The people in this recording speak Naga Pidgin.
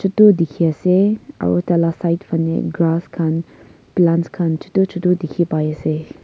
chutu dikhiase aro taila side fanae grass khan plants khan chutu chutu dikhipaiase.